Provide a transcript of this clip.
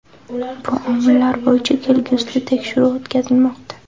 Bu omillar bo‘yicha kelgusida tekshiruv o‘tkazilmoqda.